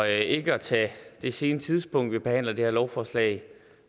ikke at tage det sene tidspunkt vi behandler det her lovforslag